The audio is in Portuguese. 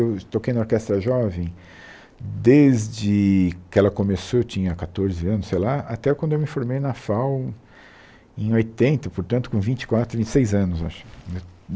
Eu toquei na Orquestra Jovem desde que ela começou, eu tinha quatorze anos, sei lá, até quando eu me formei na FAU em oitenta, portanto, com vinte e quatro, vinte e seis anos eu acho